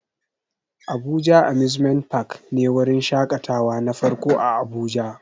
Abuja amusement park ne wurin shakatawa na farko a abuja